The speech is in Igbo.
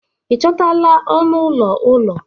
ị chọtala ọnụ ụlọ ụlọ?